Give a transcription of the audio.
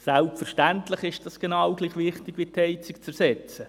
Selbstverständlich ist das genau gleich wichtig wie das Ersetzen der Heizung.